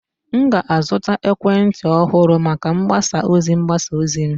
M ga-azụta ekwentị ọhụrụ maka mgbasa ozi mgbasa ozi m